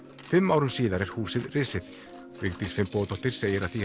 fimm árum síðar er húsið risið Vigdís Finnbogadóttir segir að því